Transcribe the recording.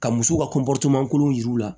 Ka musow ka kolon yir'u la